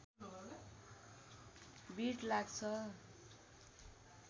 भीड लाग्छ